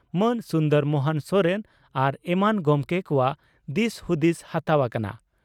ᱢᱟᱱ ᱥᱩᱱᱫᱚᱨ ᱢᱚᱦᱚᱱ ᱥᱚᱨᱮᱱ ᱟᱨ ᱮᱢᱟᱱ ᱜᱚᱢᱠᱮ ᱠᱚᱣᱟᱜ ᱫᱤᱥ ᱦᱩᱫᱤᱥ ᱦᱟᱛᱟᱣ ᱟᱠᱟᱱᱟ ᱾